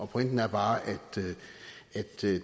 pointen er bare at